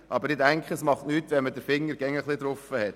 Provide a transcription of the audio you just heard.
Aber ich denke, es schadet nicht, wenn man den Finger darauf legt.